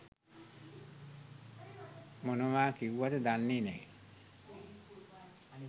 මොනවා කිව්වද දන්නෙ නෑ.